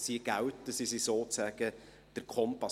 sie gelten und sie sind sozusagen der Kompass.